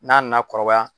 N'a nana kɔrɔbaya